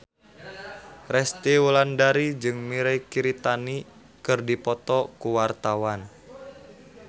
Resty Wulandari jeung Mirei Kiritani keur dipoto ku wartawan